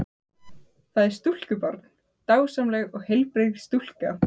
Það er stúlkubarn, dásamleg og heilbrigð stúlka.